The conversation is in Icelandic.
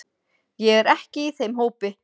Ég er ekki í þeim hópi.